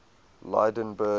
lydenburg